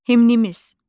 Himnimiz.